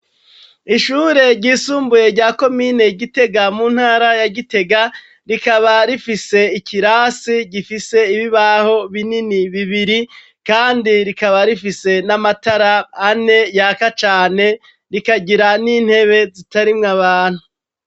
Ishure ryisumbuye rya komine Gitega mu ntara ya Gitega rikaba rifise ikirasi gifise ibibaho binini bibiri kandi rikaba rifise n'amatara ane yaka cane, rikagira n'intebe zitarimwo abantu.